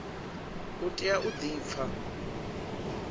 u tea u di pfa